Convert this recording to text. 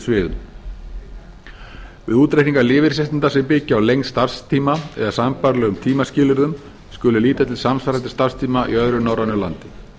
sviðum við útreikning lífeyrisréttinda sem byggjast á lengd starfstíma eða sambærilegum tímaskilyrðum sé litið til samsvarandi starfstíma í öðru norrænu landi